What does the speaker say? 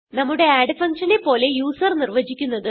നമ്മുടെ add function നെ പോലെ യൂസർ നിർവചിക്കുന്നത്